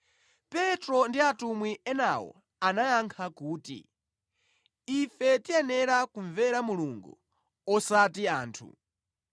Petro ndi atumwi enawo anayankha kuti, “Ife tiyenera kumvera Mulungu osati anthu!